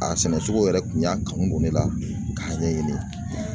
A sɛnɛcogo yɛrɛ kun y'a kanu don ne la k'a ɲɛɲini.